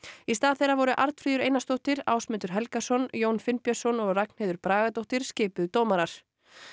í stað þeirra voru Arnfríður Einarsdóttir Ásmundur Helgason Jón Finnbjörnsson og Ragnheiður Bragadóttir skipuð dómarar